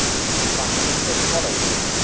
prime minister following